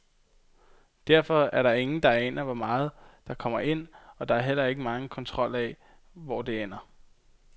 Derfor er der ingen, der aner, hvor meget der kommer ind, og der er heller ikke megen kontrol af, hvor det ender.